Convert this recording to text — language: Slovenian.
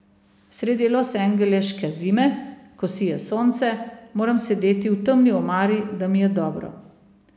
Sredi losangeleške zime, ko sije sonce, moram sedeti v temni omari, da mi je dobro.